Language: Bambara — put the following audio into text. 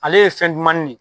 Ale ye fɛn dumanni de